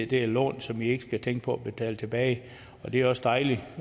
det er lån som de ikke skal tænke på at betale tilbage det er også dejligt